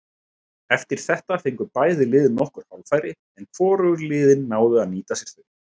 Eftir þetta fengu bæði lið nokkur hálffæri en hvorug liðin náðu að nýta sér þau.